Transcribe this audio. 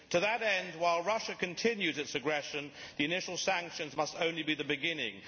To that end, while Russia continues its aggression the initial sanctions must only be the beginning.